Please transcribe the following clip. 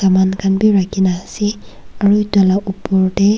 saman khan wii rakhina ase aru taila opor teh.